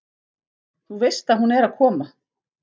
Þú veist að hún er að koma.